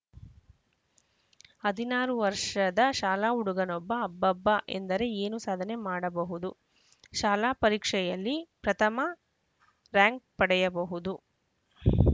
ಹದಿನಾರು ವರ್ಷದ ಶಾಲಾ ಹುಡುಗನೊಬ್ಬ ಅಬ್ಬಾಬ್ಬಾ ಎಂದರೆ ಏನು ಸಾಧನೆ ಮಾಡಬಹುದು ಶಾಲಾ ಪರೀಕ್ಷೆಯಲ್ಲಿ ಪ್ರಥಮ ರಾಂಕ್‌ ಪಡೆಯಬಹುದು